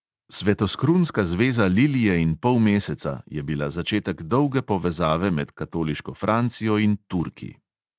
"Svetoskrunska zveza lilije in polmeseca" je bila začetek dolge povezave med katoliško francijo in turki.